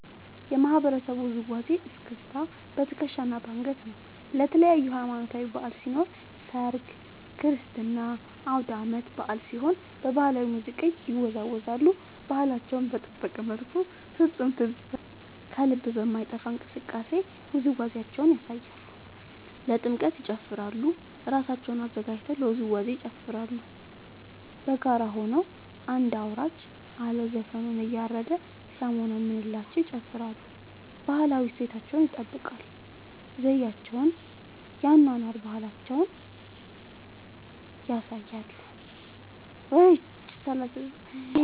የማህበረሰቡ ውዝዋዜ እስክስታ በትከሻ እና በአንገት ነው። ለተለያዪ ሀማኖታዊ በዐል ሲኖር ሰርግ ክርስትና አውዳመት በአል ሲሆን በባህላዊ ሙዚቃ ይወዛወዛሉ እና ባህላቸውን በጠበቀ መልኩ ፍፁም ትዝ በሚል ከልብ በማይጠፍ እንቅስቃሴ ውዝዋዜያቸውን ያሳያሉ። ለጥምቀት ይጨፉራሉ እራሳቸውን አዘጋጅተው ለውዝዋዜ ይጨፋራሉ በጋራ ሆነው አንድ አውራጅ አለ ዘፈኑን እያረደ ሲያሞነምንላቸው ይጨፍራሉ። ባህላዊ እሴታቸውን ይጠብቃል ዘዪቸውን የአኗኗር ባህላቸውን ያሳያሉ።